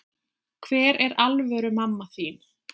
Hver er alvöru mamma þín?